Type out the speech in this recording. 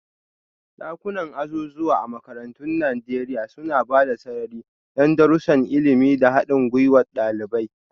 Dakunan azuzuwa a makarantun Najeriya suna ba da sarari don darussan ilimi da haɗin gwiwar ɗalibai.